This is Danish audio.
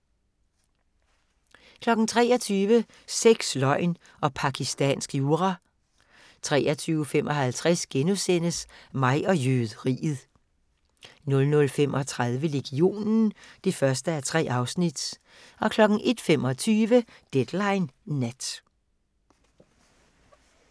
23:00: Sex, løgn og pakistansk jura 23:55: Mig og jøderiet * 00:35: Legionen (1:3) 01:25: Deadline Nat